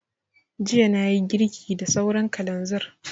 Jiya na yi girki da sauran kalanzir